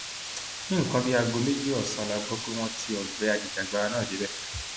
ní nǹkan bíi aago méjì ọsán la gbọ pé wọn tíọ gbé ajìjàgbara náà débẹ